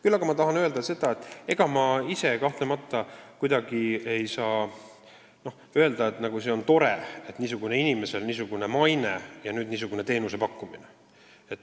Küll aga tahan öelda, et ega see kahtlemata kuidagi tore ei ole, et konkreetsel inimesel, kes seda teenust pakub, on niisugune maine.